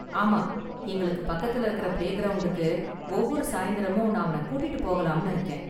ஆமா, எங்களுக்கு பக்கத்துல இருக்கற பிளேகிரவுண்டுக்கு ஒவ்வொரு சாயந்திரமும் நான் அவன கூட்டி போகலாம்னு இருக்கேன்.